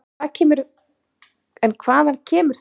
En hvaðan kemur þetta fólk?